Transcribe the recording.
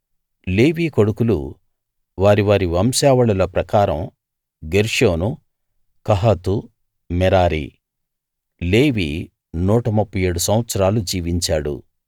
లేవి కొడుకులు వారి వారి వంశావళుల ప్రకారం గెర్షోను కహాతు మెరారి లేవి 137 సంవత్సరాలు జీవించాడు